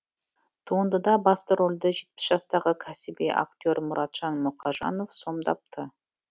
туындыда басты рөлді жетпіс жастағы кәсіби актер мұратжан мұқажанов сомдапты